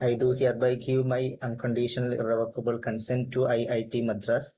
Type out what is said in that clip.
E do hereby give my unconditional irrevocable consent to it Madras